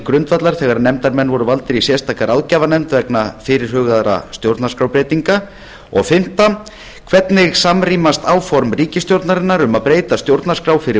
grundvallar þegar nefndarmenn voru valdir í sérstaka ráðgjafarnefnd vegna fyrirhugaðra stjórnarskrárbreytinga fimmta hvernig samrýmast áform ríkisstjórnarinnar um að breyta stjórnarskrá fyrir